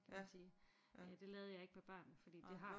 Kan man sige det lavede jeg ikke med børnene fordi det har